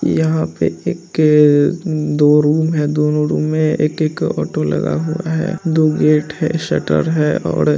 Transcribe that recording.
यहाँ पर एक के दो रूम है दोनो रूम में एक-एक ऑटो लगा हुआ है दो गेट है शटर है और--